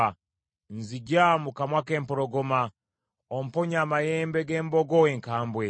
Nzigya mu kamwa k’empologoma, omponye amayembe g’embogo enkambwe.